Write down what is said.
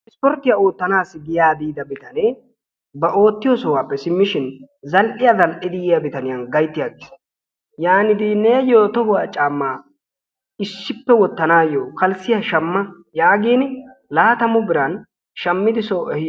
Ispportiiya oottanassi giyaa biida bitanee ba oottiyo sohuwappe simmishin zal''iyaa zal''idi yiyaa bitaniyaan gaytti agiis. yaanidaage neyyo tohuwa caamma issippe wottanaw kalissiya shammaa yaagin laattamu biran shammidi so ehii...